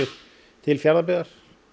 til Fjarðabyggðar